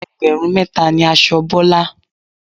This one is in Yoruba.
Ẹgbẹ̀rún mẹ́ta ni aṣọ Bọ́lá.